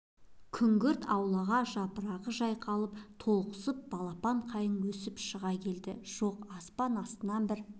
күңгірт аулаға жапырағы жайқалып толықсып балапан қайың өсіп шыға келді жоқ аспан астын бір